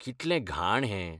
कितलें घाण हें.